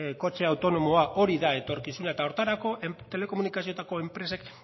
kotxe autonomoa hori da etorkizuna eta horretarako telekomunikazioetako enpresek